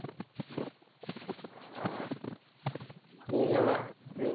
அஹ் நீங்கல்லாம் நீங்க